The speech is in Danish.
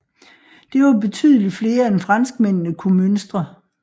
Det var betydeligt flere end franskmændene kunne mønstre